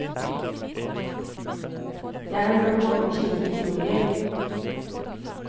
Jeg har hørt mange slike historier.